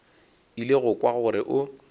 ile go kwa gore o